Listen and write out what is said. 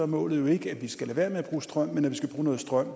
målet jo ikke at vi skal lade være med at bruge strøm men at vi skal bruge noget strøm